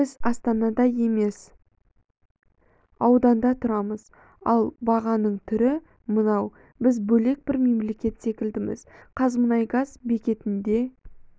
біз астанада емес ауданда тұрамыз ал бағаның түрі мынау біз бөлек бір мемлекет секілдіміз қазмұнайгаз бекетінде